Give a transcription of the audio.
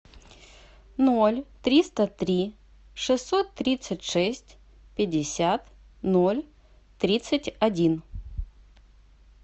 ноль триста три шестьсот тридцать шесть пятьдесят ноль тридцать один